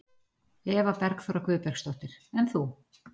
Eva Bergþóra Guðbergsdóttir: En þú?